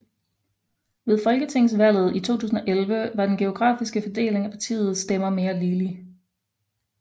Ved folketingsvalget i 2011 var den geografiske fordeling af partiets stemmer mere ligelig